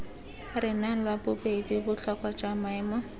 renang lwabobedi botlhokwa jwa maemo